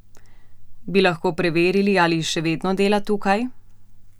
Bi lahko preverili, ali še vedno dela tukaj?